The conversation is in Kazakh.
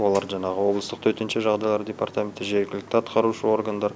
олар жаңағы обылыстың төтенше жағдайлар департаменті жергілікті атқарушы органдар